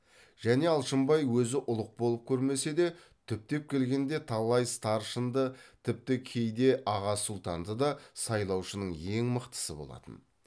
және алшынбай өзі ұлық болып көрмесе де түптеп келгенде талай старшынды тіпті кейде аға сұлтанды да сайлаушының ең мықтысы болатын